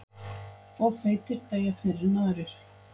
Of feitir deyja fyrr en aðrir